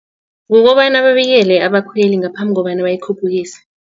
Kukobana babikele abakhweli ngaphambi kobana bayikhuphukise.